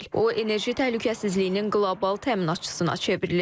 O enerji təhlükəsizliyinin qlobal təminatçısına çevrilir.